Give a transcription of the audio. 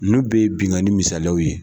Ninnu bɛɛ ye binnkanni misaliyaw ye